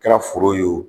Kɛra foro ye wo